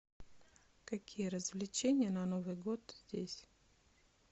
какие развлечения на новый год здесь